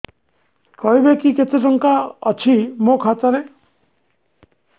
କହିବେକି କେତେ ଟଙ୍କା ଅଛି ମୋ ଖାତା ରେ